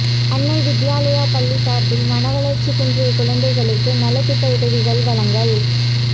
அன்னை வித்யாலயா பள்ளி சாா்பில் மனவளா்ச்சி குன்றிய குழந்தைகளுக்கு நலத்திட்ட உதவிகள் வழங்கல்